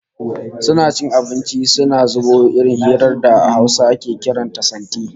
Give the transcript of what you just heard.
Suna cin abinci suna zubo irin hirar da a Hausa ake kiran ta "santi"